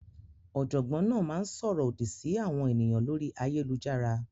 Ọ̀jọ́gbọǹ náà má ǹ ṣórọ̀ òdí sí àwọn ènìyàn lórí ayélujàrà.